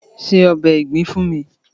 Se ọbè ìgbín fún mi!